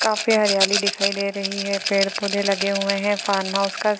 काफी हरियाली दिखाई दे रही है | पेड पौधे लगे हुए हैं | फार्म हाउस का --